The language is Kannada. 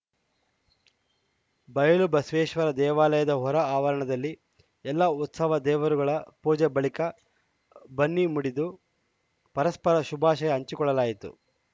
ಬಯಲು ಬಸವೇಶ್ವರ ದೇವಾಲಯದ ಹೊರ ಆವರಣದಲ್ಲಿ ಎಲ್ಲ ಉತ್ಸವ ದೇವರುಗಳ ಪೂಜೆ ಬಳಿಕ ಬನ್ನಿ ಮುಡಿದು ಪರಸ್ಪರ ಶುಭಾಶಯ ಹಂಚಿಕೊಳ್ಳಲಾಯಿತು